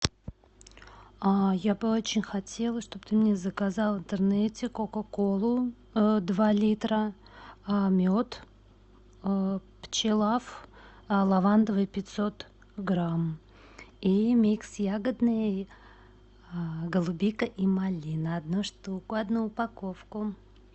я бы очень хотела чтоб ты мне заказал в интернете кока колу два литра мед пчелав лавандовый пятьсот грамм и микс ягодный голубика и малина одну штуку одну упаковку